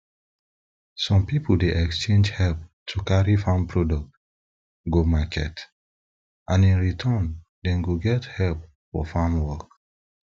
some people dey exchange help to carry farm products go market and in return dem dey get help for farm work